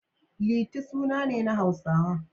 Liti suna ne na Hausawa.